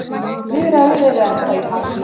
Viðræður eru ennþá í gangi.